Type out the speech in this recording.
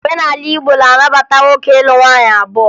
Omenala Igbo na-anabata nwoke ịlụ nwaanyị abụọ